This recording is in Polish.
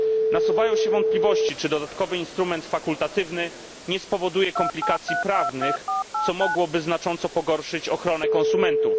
Nasuwają się wątpliwości czy dodatkowy instrument fakultatywny nie spowoduje komplikacji prawnych, co mogłoby znacząco pogorszyć ochronę konsumentów.